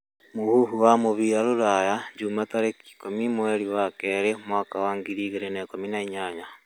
Muhũhũ wa mũbĩra rũraya juma tarĩkĩ ĩkumĩ mwerĩ wa kerĩ mwaka wa 2018